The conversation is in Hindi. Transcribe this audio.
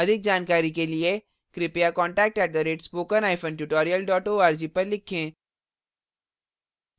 अधिक जानकारी के लिए कृपया contact @spokentutorial org पर लिखें